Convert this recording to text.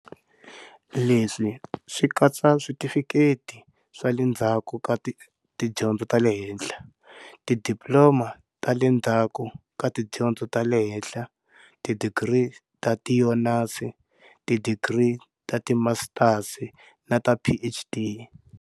Leswi swi katsa switifikheti swa le ndzhaku ka tidyondzo ta le henhla, tidiploma ta le ndzhaku ka tidyondzo ta le henhla, tidigiri ta tionasi, tidigiri ta timasitasi na ta PhD.